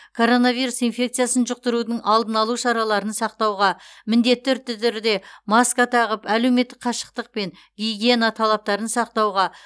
коронавирус инфекциясын жұқтырудың алдын алу шараларын сақтауға міндетті түрде маска тағып әлеуметтік қашықтық пен гигиена талаптарын сақтауға